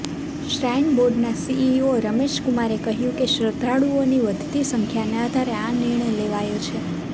shrine બોર્ડના CEO Ramesh કુમારે કહ્યું કે શ્રદ્ધાળુઓની વધતી સંખ્યાને આધારે આ નિર્ણય લેવાયો છે